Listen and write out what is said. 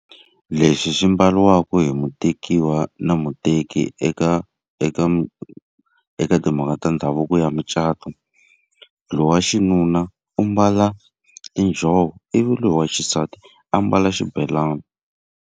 Lexi xi mbariwaka hi mutekiwa na muteki eka eka eka timhaka ta ndhavuko ya mucato. Loyi wa xinuna u mbala tinjhovo, ivi loyi wa xisati ambala xibelani.